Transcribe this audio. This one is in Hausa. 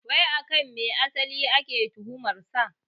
Wai akan me asali ake tuhumar sa?